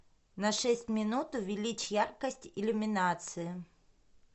на шесть минут увеличь яркость иллюминации